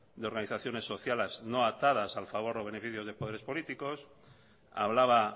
de organizaciones sociales no atadas al favor o beneficio de poderes políticos hablaba